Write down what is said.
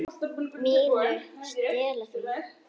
MÍNU. Stela því?